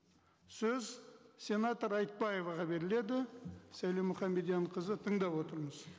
сөз сенатор айтбаеваға беріледі сәуле мұхамедьянқызы тыңдап отырмыз